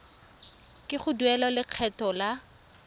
ke go duela lekgetho la